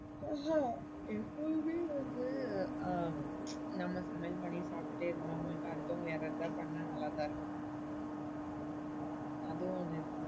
அஹ் எப்பவுமே வந்து நம்ம சமையல் பண்ணி சாப்டுட்டே இருந்தவங்களுக்கு அடுத்தவங்க யாராது பண்ணா நல்லாத்தான் இருக்கும். அதுவும் ஒன்னு.